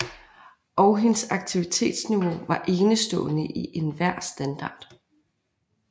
Og hendes aktivitetsniveau var enestående i enhver standard